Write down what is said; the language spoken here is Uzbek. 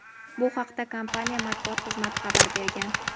Bu haqda kompaniya matbuot xizmati xabar bergan.